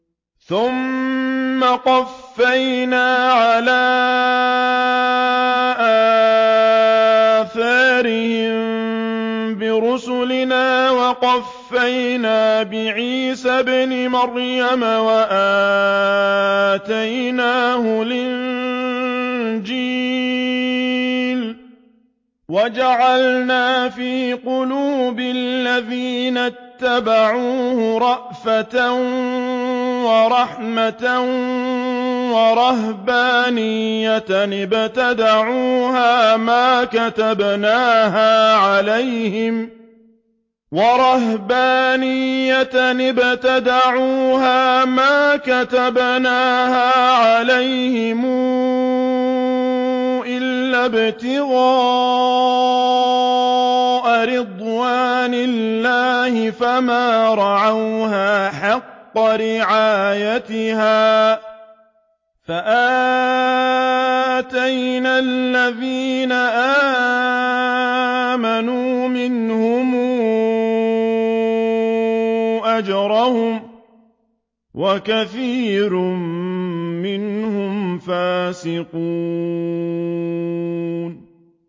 ثُمَّ قَفَّيْنَا عَلَىٰ آثَارِهِم بِرُسُلِنَا وَقَفَّيْنَا بِعِيسَى ابْنِ مَرْيَمَ وَآتَيْنَاهُ الْإِنجِيلَ وَجَعَلْنَا فِي قُلُوبِ الَّذِينَ اتَّبَعُوهُ رَأْفَةً وَرَحْمَةً وَرَهْبَانِيَّةً ابْتَدَعُوهَا مَا كَتَبْنَاهَا عَلَيْهِمْ إِلَّا ابْتِغَاءَ رِضْوَانِ اللَّهِ فَمَا رَعَوْهَا حَقَّ رِعَايَتِهَا ۖ فَآتَيْنَا الَّذِينَ آمَنُوا مِنْهُمْ أَجْرَهُمْ ۖ وَكَثِيرٌ مِّنْهُمْ فَاسِقُونَ